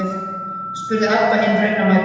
spurði Abba hin raunamædd.